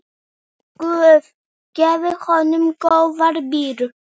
Guð gefi honum góðan byr.